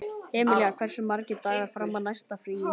Emilía, hversu margir dagar fram að næsta fríi?